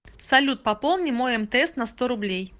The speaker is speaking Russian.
салют пополни мой мтс на сто рублей